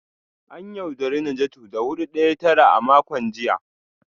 An yaudari Najatu da hudu daya tara a makon jiya